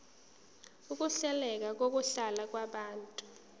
ukuhleleka kokuhlala kwabantu